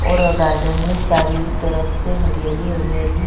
और गार्डन में चारों ही तरफ हरियाली-हरियाली--